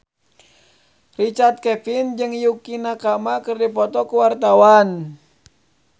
Richard Kevin jeung Yukie Nakama keur dipoto ku wartawan